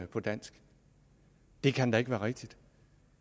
på dansk det kan ikke være rigtigt